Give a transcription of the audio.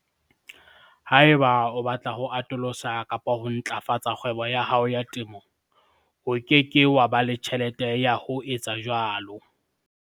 Haeba o batla ho atolosa kapa ho ntlafatsa kgwebo ya hao ya temo, o ke ke wa ba le tjhelete ya ho etsa jwalo.